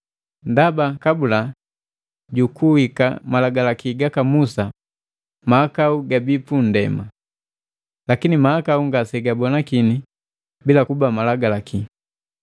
Ndaba kabula jukuhika malagalaki gaka Musa mahakau gabii punndema, lakini mahakau ngase gabonakini bila kuba Malagalaki.